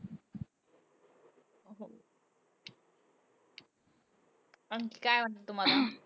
आणखी काय वाटतं तुम्हांला?